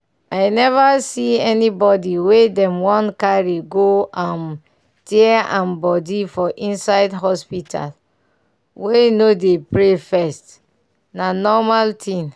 i never see anybody wey dem wan carry go um tear am body for inside hospital wey no dey pray first na normal thing.